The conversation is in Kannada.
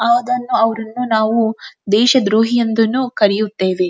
ಅದನ್ನು ಅವ್ರು ಇನ್ನು ನಾವು ದೇಶದ್ರೋಹಿ ಎಂದನ್ನು ಕರೆಯುತ್ತೇವೆ.